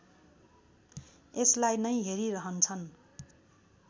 यसलाई नै हेरिरहन्छन्